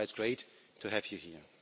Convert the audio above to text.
Thatʼs why itʼs great to have you here.